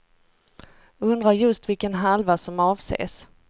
Undrar just vilken halva som avses.